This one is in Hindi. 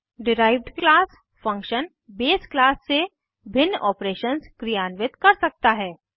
derived class function base class से भिन्न ऑपरेशन्स क्रियान्वित कर सकता है